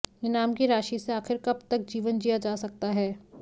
इनाम की राशि से आखिर कब तक जीवन जिया जा सकता है